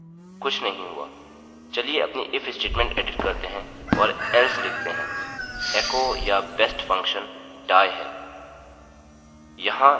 चलिए अपनी if statement edit करते हैं और else लिखते हैं एको या बेस्ट फंक्शन die है